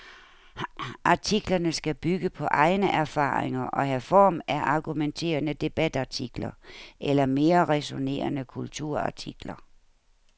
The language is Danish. Artiklerne skal bygge på egne erfaringer og have form af argumenterende debatartikler eller mere ræsonnerende kulturartikler.